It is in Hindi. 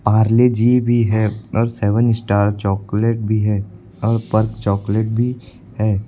परले जी जी भी है और सेवन स्टार चॉकलेट भी है और पर्क चॉकलेट भी है।